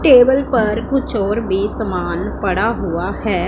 Table पर कुछ और भी सामान पड़ा हुआ है।